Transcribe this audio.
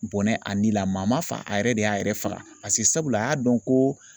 Bɔnɛ a ni la ma m'a fa a yɛrɛ de y'a yɛrɛ faga a y'a dɔn ko